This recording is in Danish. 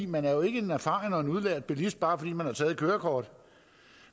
man er jo ikke en erfaren og udlært bilist bare fordi man har taget et kørekort